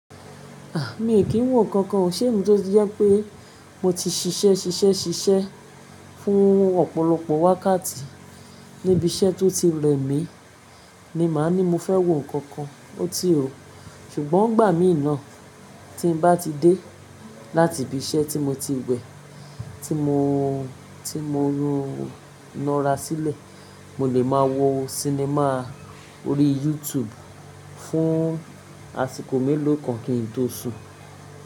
A! Mí kìí wò nkankan o, sẹ́mí tó ti jẹ́ pẹ́ mo ti ṣiṣẹ́, ṣiṣẹ́, ṣiṣẹ́ fún ọ̀pọ̀lọpọ̀ wákàtí níbi iṣẹ́ tó ti rẹ mí ni màá ní mo fẹ́ wò nkankan, ó ti ò. Sùgbọ́n ngbà mí naa tí n bá ti dé láti ibi iṣẹ́ tí mo ti we, tí mo, tí mo nara sílẹ̀, mo lè máa wo sinimá orí YouTube fún àsìkò mélòó kan kí n tó sun.